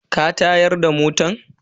Ka tayar da motan?